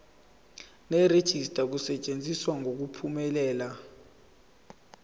nerejista kusetshenziswe ngokuphumelela